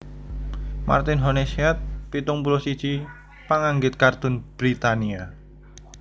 Martin Honeysett pitung puluh siji panganggit kartun Britania